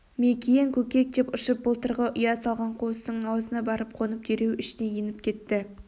мекиен көкек деп ұшып былтырғы ұя салған қуыстың аузына барып қонып дереу ішіне еніп кетті